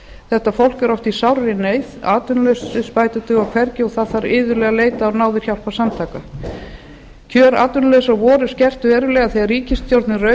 þetta fólk er oft í sárri neyð atvinnuleysisbætur duga hvergi og það þarf iðulega að leita á náðir hjálparsamtaka kjör atvinnulausra voru skert verulega þegar ríkisstjórnin rauf